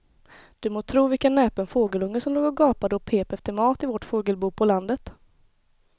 Du må tro vilken näpen fågelunge som låg och gapade och pep efter mat i vårt fågelbo på landet.